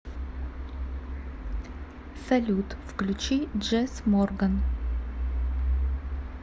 салют включи джесс морган